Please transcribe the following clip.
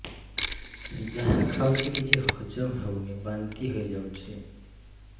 ଯାହା ଖାଉଛି କିଛି ହଜମ ହେଉନି ବାନ୍ତି ହୋଇଯାଉଛି